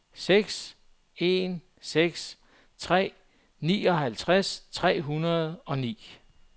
seks en seks tre nioghalvtreds tre hundrede og ni